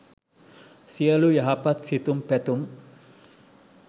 සියළු යහපත් සිතුම් පැතුම්